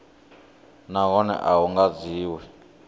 nahone a hu nga dzhiwi